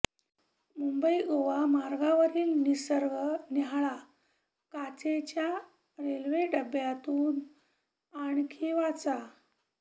मुंबई गोवा मार्गावरील निसर्ग न्याहाळा काचेच्या रेल्वे डब्यातून आणखी वाचा